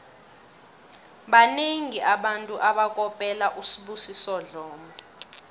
banengi abantu abakopela usibusiso dlomo